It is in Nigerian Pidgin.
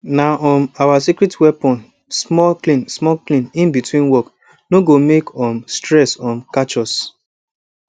na um our secret weapon small clean small clean in between work no go make um stress um catch us